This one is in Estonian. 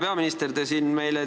Hea peaminister!